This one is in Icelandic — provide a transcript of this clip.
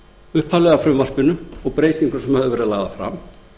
upphaflega frumvarpinu og á breytingum sem lagðar höfðu verið fram